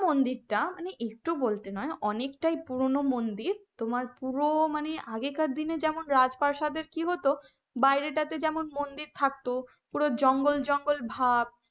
মন্দিরটা মানে একটু বলতে নয় অনেকটাই পুরনো মন্দির তোমার পুরো মানে আগে কার দিনে যেমন রাজপ্রাসাদ কি হতো বাইরেটা তো যেমন মন্দির থাকতো পুরো জঙ্গল জঙ্গল ভাব,